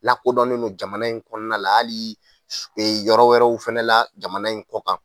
Lakodɔnnen don jamana in kɔnɔna la hali yɔrɔ wɛrɛw fana la jamana in kɔ kan.